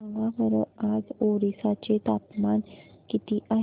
सांगा बरं आज ओरिसा चे तापमान किती आहे